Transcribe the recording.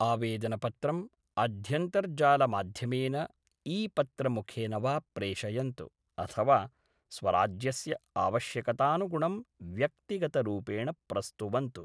आवेदनपत्रम् अध्यन्तर्जालमाध्यमेन, ई पत्रमुखेन वा प्रेषयन्तु, अथवा स्वराज्यस्य आवश्यकतानुगुणं व्यक्तिगतरूपेण प्रस्तुवन्तु।